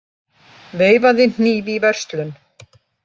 Veifaði hníf í verslun